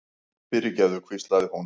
fyrirgefðu, hvíslaði hún.